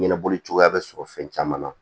Ɲɛnabɔli cogoya bɛ sɔrɔ fɛn caman na